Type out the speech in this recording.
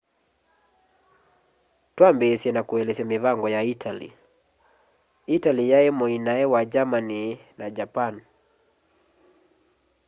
twambiisye na kuelesya mivango ya italy italy yai muinae wa germany na japan